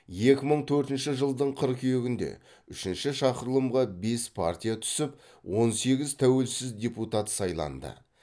екі мың төртінші жылдың қыркүйегінде үшінші шақырылымға бес партия түсіп он сегіз тәуелсіз депутат сайланды